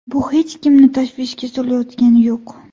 Bu hech kimni tashvishga solayotgani yo‘q.